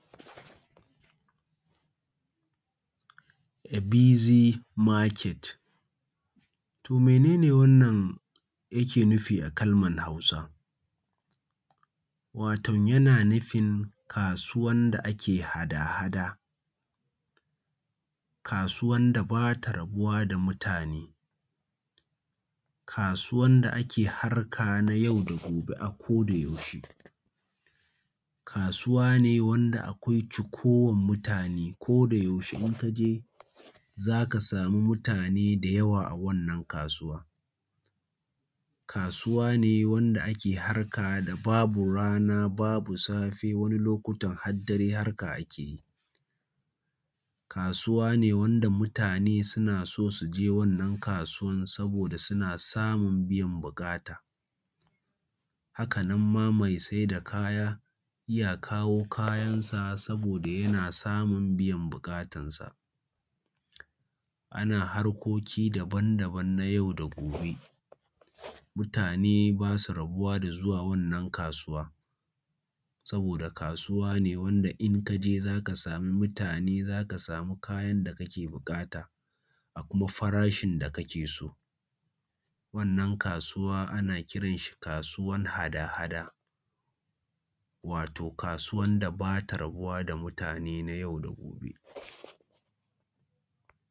A busy market. To mene ne wannan yake nufi a Kalmar Hausa? Waton yana nufin kasuwa da ake hada-hada, kasuwan da ba ta rabuwa da mutane, kasuwar da ake harka na yau da gobe a ko da yaushe, kasuwa ne wanda akwai cikowan mutane ko da yaushe in ka je za ka samu mutane da yawa a wannan kasuwan. Kasuwa ne wanda ake harka da babu rana babu safe wani lokutan har dare harka ake yi. Kasuwa ne wanda mutane suna so su je wannan kasuwan saboda suna samun biyan buƙata. Haka nan ma mai saida kaya yana kawo kayansa saboda yana samun biyan buƙatansa. Ana harkoki daban-daban na yau da gobe, mutane bas u rabuwa da zuwa wannan kasuwa, saboda kasuwa ne wanda in ka je za ka samu mutane, za ka samu kayan da kake buƙata, a kuma farashin da kake so. Wannan kasuwa ana kiran shi kasuwan hada-hada, wato kasuwan da bata rabuwa da mutane nay au da gobe.